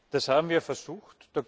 Das haben wir versucht.